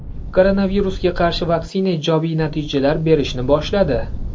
Koronavirusga qarshi vaksina ijobiy natijalar berishni boshladi.